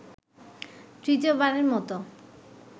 তৃতীয়বারের মতো